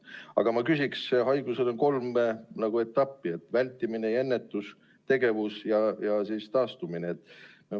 Aga ma küsin, et selle haiguse puhul on nagu kolm etappi: vältimine ja ennetus, nn tegevus ja siis taastumine.